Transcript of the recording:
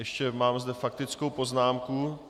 Ještě mám zde faktickou poznámku.